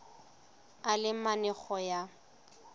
a le mane go ya